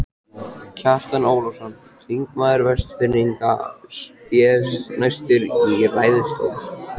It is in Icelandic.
Kjartan Ólafsson, þingmaður Vestfirðinga, sté næstur í ræðustól.